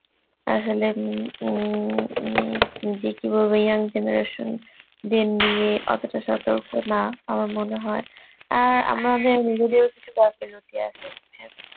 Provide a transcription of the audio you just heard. আসলে উম উম উনি যে কি বলব young generation দের নিয়ে অতটা সতর্ক না আমার মনে হয়, আর আমাদের নিজেদেরও কিছু গাফিলতি আছে